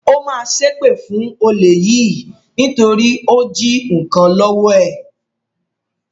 Ó ma ṣépè fún olè yìí nítorí ó jí nnkan lọ́wọ́ ẹ̀